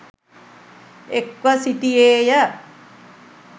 එක්ව සිටියේ ය.